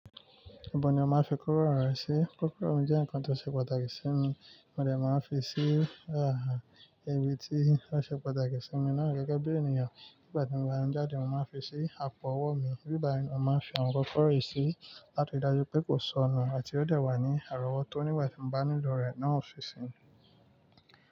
Ibo ni ọ ma fi kó kula re sí? Kókó rọ̀rẹ́ jẹ́ ǹkan tó ṣe pàtàkì sí mi, mo dẹ̀ máa ń fi sí, àá, ibi tí ó ṣe pàtàkì sí mi náà gẹ́gẹ́ bí ènìyàn. Nígbà tí mo bá ń jáde, mo máa ń fi sí àpò-ọwọ́ mi, nígbà mìíràn má ń fi àwọn ọkọ́ rẹ̀ sí láti dájú pé kò sọnù àti ó dẹ̀ wà ní àrọ́wọ́tó oníwà-ìbánilò rẹ̀ náà ó fi sí.